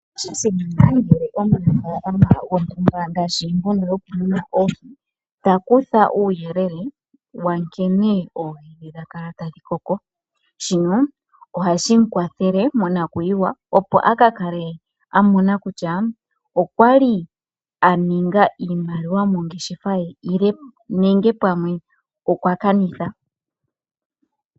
Osha simana ngele omunafalama gontumba ngaashi mbono yoku muna oohi ta kutha uuyelele wa nkene oohi dhe dha kala tadhi koko shino ohashi kwathele monakuyiwa opo akakale amona kutya okwali a ninga iimaliwa mongeshefa ye nenge pamwe okwa kanitha.